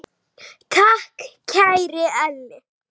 Takk, kæri Elli.